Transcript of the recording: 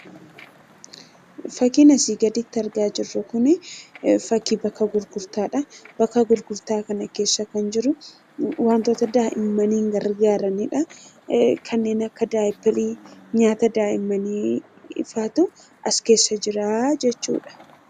fakkiinasii gaditti argaa jirru kun fakii bakka gurgurtaadha bakka gurgurtaa kana keessa kan jiru wantoota daa'immanii gargaaraniidha kanneen akka daa'ipirii nyaata daa'immanii faatu askeessa jira jechuudha